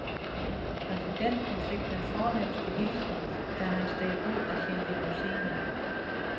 Præsidenten fik den fornemste hilsen, da han steg ud af sin limousine.